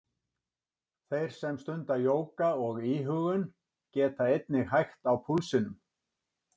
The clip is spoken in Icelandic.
Þeir sem stunda jóga og íhugun geta einnig hægt á púlsinum.